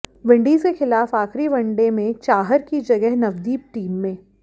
Windies के खिलाफ आखिरी वनडे में चाहर की जगह नवदीप टीम में